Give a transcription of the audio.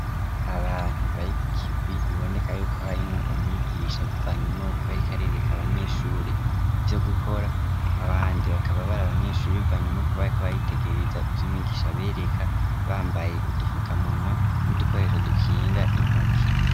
Abantu, bari ku kivi, biboneka y'uko harimwo umwigisha, bivanye n'uko, yariko arereka abanyeshure ivyo gukora, abandi bakaba bari abanyeshure, bivanye n'uko, bariko baritegereza ivyo umwigisha abereka, bambaye udufukamunwa, n'udukoresho dukinga intoki.